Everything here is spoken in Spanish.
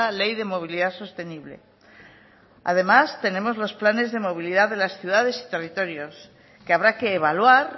ley de movilidad sostenible además tenemos los planes de movilidad de las ciudades y territorios que habrá que evaluar